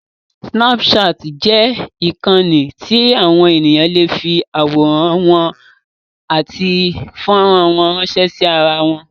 Sínápùṣaàtì jẹ́ ìkànnì tí àwọn èèyàn lè fi àwọ̀rán wọn àti fọ́rán wọn ránṣẹ́ sí irawọn.